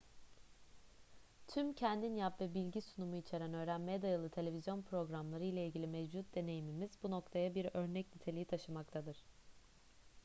tüm kendin yap ve bilgi sunumu içeren öğrenmeye dayalı televizyon programları ile ilgili mevcut deneyimimiz bu noktaya bir örnek niteliği taşımaktadır